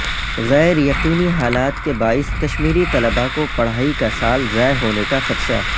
غیر یقینی حالات کے باعث کشمیری طلبہ کو پڑھائی کا سال ضائع ہونے کا خدشہ